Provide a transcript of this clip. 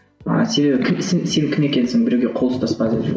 себебі кімсің сен кім екенсің біреуге қол ұстаспа